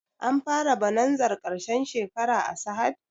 An fara bonanzar ƙarshen shekara a sahad?